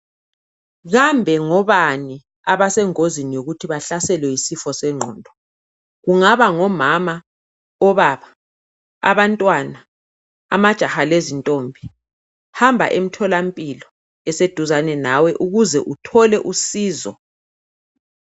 Kambe ngobani abasengozini yokuthi bahlaselwe yisifo sengqondo? Kungaba ngomama, obaba, abantwana, amajaha lezintombi? Hamba emtholampilo, eseduzane nawe. Ukuze uthole usizo.